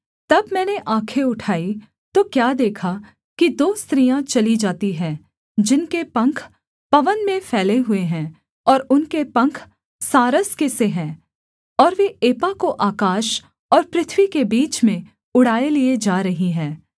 तब मैंने आँखें उठाई तो क्या देखा कि दो स्त्रियाँ चली जाती हैं जिनके पंख पवन में फैले हुए हैं और उनके पंख सारस के से हैं और वे एपा को आकाश और पृथ्वी के बीच में उड़ाए लिए जा रही हैं